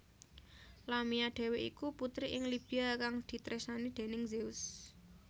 Lamia dhéwé iku putri ing Libya kang ditresnani déning Zeus